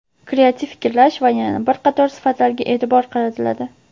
kreativ fikrlash va yana bir qator sifatlarga eʼtibor qaratiladi.